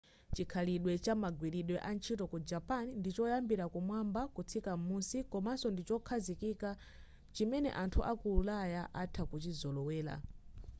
chikhalidwe cha magwiridwe a ntchito ku japan ndi choyambira kumwamba kutsika m'musi komaso ndichokhazikika chimene anthu aku ulaya atha kuchizolowera